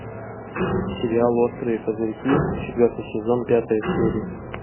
сериал острые козырьки четвертый сезон пятая серия